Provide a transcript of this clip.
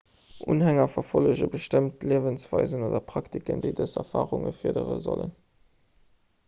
unhänger verfollege bestëmmt liewensweisen oder praktiken déi dës erfarunge fërdere sollen